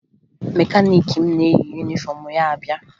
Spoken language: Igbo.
Mekaniiki m na-eyi yunifọmụ ya abịa